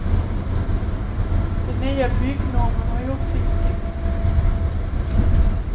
Den nya byggnormen har gjort sitt till.